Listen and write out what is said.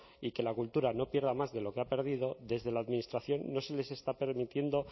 y que la cultura no pierda más de lo que ha perdido desde la administración no se les está permitiendo